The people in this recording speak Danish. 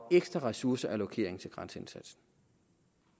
ekstra ressourceallokering til grænseindsatsen